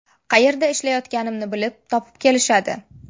Qayerda ishlayotganimni bilib, topib kelishadi.